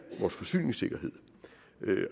vores forsyningssikkerhed